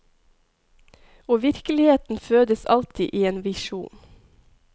Og virkeligheten fødes alltid i en visjon.